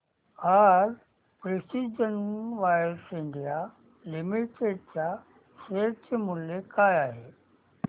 आज precision wires India limited च्या share चे मूल्य काय आहे